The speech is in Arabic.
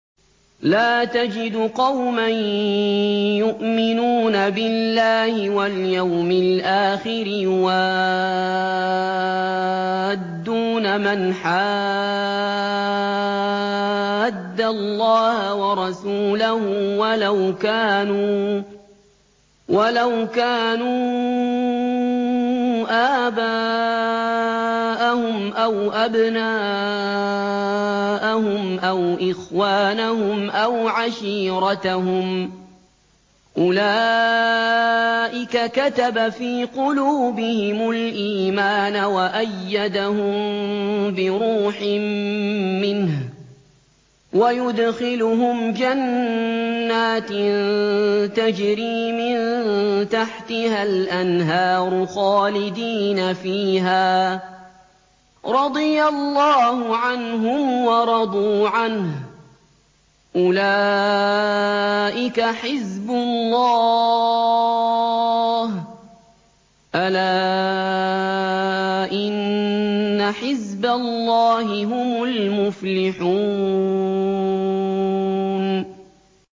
لَّا تَجِدُ قَوْمًا يُؤْمِنُونَ بِاللَّهِ وَالْيَوْمِ الْآخِرِ يُوَادُّونَ مَنْ حَادَّ اللَّهَ وَرَسُولَهُ وَلَوْ كَانُوا آبَاءَهُمْ أَوْ أَبْنَاءَهُمْ أَوْ إِخْوَانَهُمْ أَوْ عَشِيرَتَهُمْ ۚ أُولَٰئِكَ كَتَبَ فِي قُلُوبِهِمُ الْإِيمَانَ وَأَيَّدَهُم بِرُوحٍ مِّنْهُ ۖ وَيُدْخِلُهُمْ جَنَّاتٍ تَجْرِي مِن تَحْتِهَا الْأَنْهَارُ خَالِدِينَ فِيهَا ۚ رَضِيَ اللَّهُ عَنْهُمْ وَرَضُوا عَنْهُ ۚ أُولَٰئِكَ حِزْبُ اللَّهِ ۚ أَلَا إِنَّ حِزْبَ اللَّهِ هُمُ الْمُفْلِحُونَ